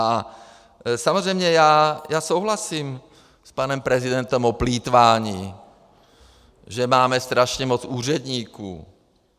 A samozřejmě, já souhlasím s panem prezidentem o plýtvání, že máme strašně moc úředníků.